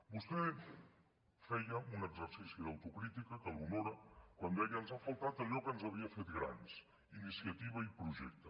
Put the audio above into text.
vostè feia un exercici d’autocrítica que l’honora quan deia ens ha faltat allò que ens havia fet grans iniciativa i projecte